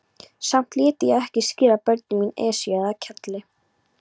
Samt léti ég ekki skíra börnin mín Esju eða Keili.